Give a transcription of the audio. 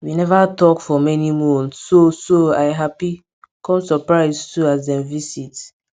we neva talk for many month so so i happy com surprise too as dem visit